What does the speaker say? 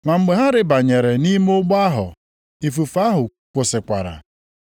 Ma mgbe ha rịbanyere nʼime ụgbọ ahụ ifufe ahụ kwụsịkwara.